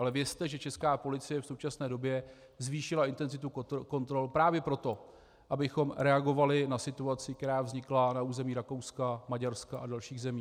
Ale vězte, že česká policie v současné době zvýšila intenzitu kontrol právě proto, abychom reagovali na situaci, která vznikla na území Rakouska, Maďarska a dalších zemí.